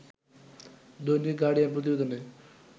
দৈনিক গার্ডিয়ান প্রতিবেদনে